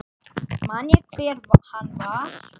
Man ég hver hann var?